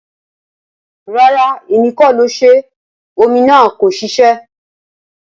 Rara, Emi ko ṣe. Omi naa ko ṣiṣẹ.